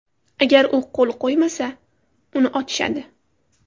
Agar u qo‘l qo‘ymasa, uni otishadi.